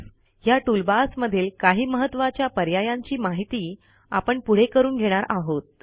ह्या टूलबार्स मधील काही महत्वाच्या पर्यायांची माहिती आपण पुढे करून घेणार आहोत